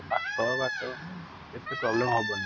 ପାଖ ବାଟ ଏତେ ହବନି |